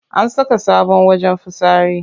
An saka sabon wajen fitsari.